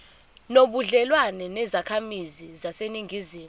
nobudlelwane nezakhamizi zaseningizimu